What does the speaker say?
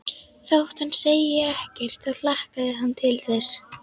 Þótt hann segði ekkert þá hlakkaði hann til þess.